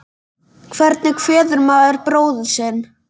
Hvernig kveður maður bróður sinn?